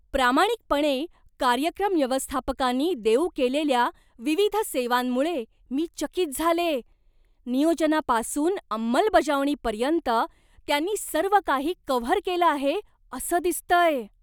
प्रामाणिकपणे, कार्यक्रम व्यवस्थापकानी देऊ केलेल्या विविध सेवांमुळे मी चकित झालेय, नियोजनापासून अंमलबजावणीपर्यंत त्यांनी सर्व काही कव्हर केलं आहे असं दिसतंय!